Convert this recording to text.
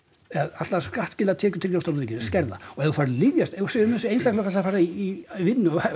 allar skattskyldar tekjur til ríkisins skerða og ef þú færð lyfja ef þú segir að einstaklingur að fara í vinnu eða